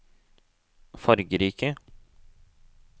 fargerike